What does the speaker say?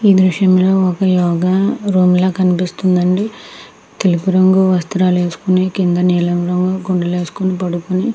ఈ దృశ్యం లో ఒక యోగా లాగా కనిపిస్తుంది అండి. తెలుపు రంగు వస్త్రాలు వేసుకుని కింద నీలం రంగు గుడ్డలు వేసుకుని కింద పడుకుని --